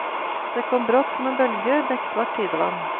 Det kom brått som en bølge beksvart tidevann.